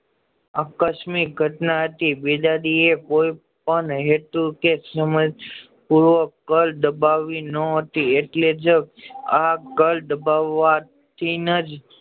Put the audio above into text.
આકશમિક ઘટના હતી બીજે દિવસે કોઈ પણ હેતુ કે સમય પૂરો કા દબાવી ન હતી એટલે જ આ કાળ દાબવા થી નજ